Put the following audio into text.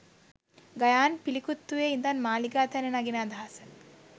ගයාන් පිළිකුත්තුවේ ඉඳන් මාලිගාතැන්න නගින අදහස